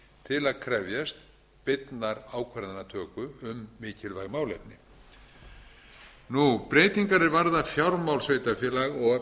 til að krefjast beinnar ákvarðanatöku um mikilvæg málefni breytingar er varða fjármál sveitarfélaga og